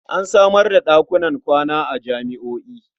An samar da ɗakunan kwana a jami'o'i.